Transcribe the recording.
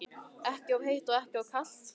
Ekki of heitt og ekki of kalt?